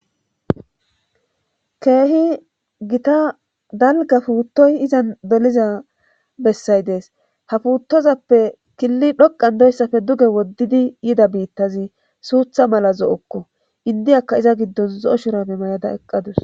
keehi gita dalga puuttoy izan doliza bessay dees ha puuttozappe killi dhoqan doyssafe duge woddidi yida biittazi suutha mala zo7okko indiyakka iza giddon zo7o shurame may7ada eqqadus